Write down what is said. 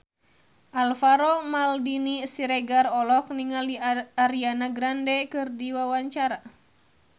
Alvaro Maldini Siregar olohok ningali Ariana Grande keur diwawancara